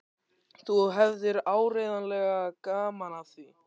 Þú hefðir áreiðanlega gaman af því.